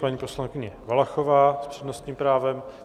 Paní poslankyně Valachová s přednostním právem.